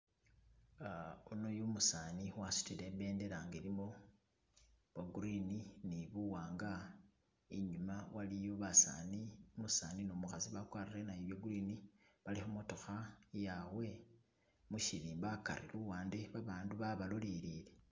Umo umusani nga wasudile ibedela nga ilimo bo green ni buwanga inyuma waliyo basani umusani ni umukhasi bagwarile nabo bye green bali kumotokha iyaabwe mushirimba hagari luwande babantu babalolele